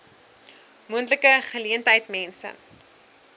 moontlike geleentheid mense